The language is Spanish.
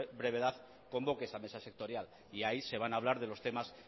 brevedad convoque esa mesa sectorial y ahí se van a hablar de los temas